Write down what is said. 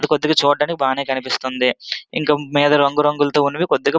ఇక్కడ చూడడానికి బాగానె కనిపిస్తున్నది. ఇక్కడ మీద రంగు రంగులోతో ఉన్నాయి కొద్దిగా --